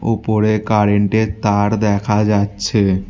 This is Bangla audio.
উপরে কারেন্টের তার দেখা যাচ্ছে।